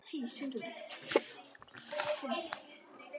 Þessar síðasttöldu skýringar þykja þó flestum nokkuð langsóttar.